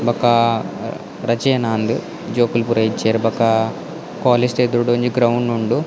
ಬೊಕ್ಕ ರಜೇನಾಂದ್ ಜೋಕುಲು ಪೂರ ಇಜ್ಜೆರ್ ಬೊಕ್ಕ ಕಾಲೇಜ್ ದ ಎದುರುಡೊಂಜಿ ಗ್ರೌಂಡ್ ಉಂಡು.